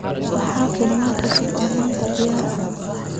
maxaa filimada cusub ee maanta diyaar ah